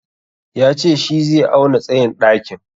Ya ce shi zai auna tsayin ɗakin.